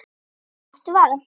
Láttu vaða